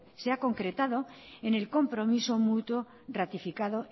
se ha concretado en el compromiso mutuo ratificado